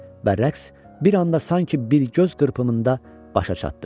Və rəqs bir anda sanki bir göz qırpımında başa çatdı.